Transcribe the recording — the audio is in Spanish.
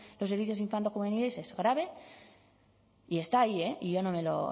los servicios infanto juveniles grave y está ahí y yo no me lo